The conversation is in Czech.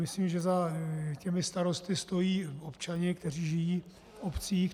Myslím, že za těmi starosty stojí občané, kteří žijí v obcích.